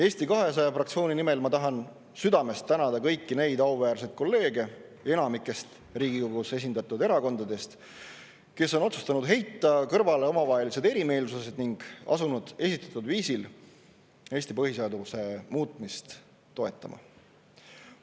Eesti 200 fraktsiooni nimel tahan ma südamest tänada kõiki auväärseid kolleege enamikust Riigikogus esindatud erakondadest, kes on otsustanud heita kõrvale omavahelised erimeelsused ning asunud esitatud viisil Eesti põhiseaduse muutmist toetama.